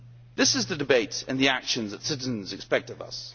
This is the debate and the actions that citizens expect of us.